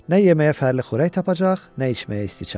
Nə yeməyə fərli xörək tapacaq, nə içməyə isti çay.